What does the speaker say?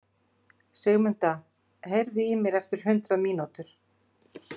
Sigurmunda, heyrðu í mér eftir hundrað mínútur.